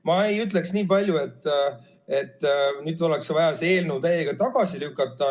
Ma ei ütleks, et nüüd oleks vaja see eelnõu täiega tagasi lükata.